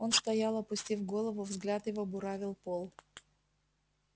он стоял опустив голову взгляд его буравил пол